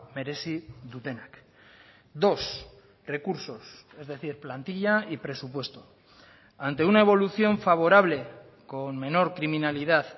merezi dutenak dos recursos es decir plantilla y presupuesto ante una evolución favorable con menor criminalidad